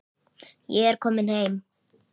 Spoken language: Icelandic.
Ég er kominn heim.